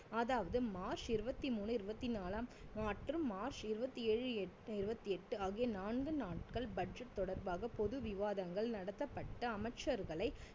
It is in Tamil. அதாவது மார்ச் இருவத்தி மூணூ இருவத்தி நாலாம் மற்றும் மார்ச் இருவத்தி ஏழு எட்~ இருவத்தி எட்டு ஆகிய நான்கு நாட்கள் budget தொடர்பாக பொது விவாதங்கள் நடத்தப்பட்டு அமைச்சர்களை